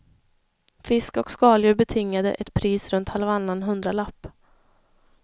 Fisk och skaldjur betingade ett pris runt halvannan hundralapp.